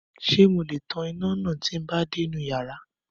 Ṣé mo le tan iná náà tí n bá dé inú yàrá?